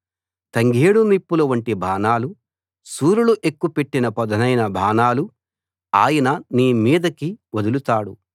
తంగేడు నిప్పుల వంటి బాణాలు శూరులు ఎక్కుపెట్టిన పదునైన బాణాలు ఆయన నీ మీదికి వదులుతాడు